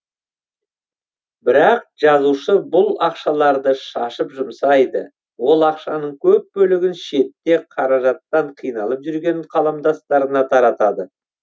бірақ жазушы бұл ақшаларды шашып жұмсайды ол ақшаның көп бөлігін шетте қаражаттан қиналып жүрген қаламдастарына таратады